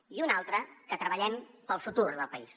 i una altra que treballem pel futur del país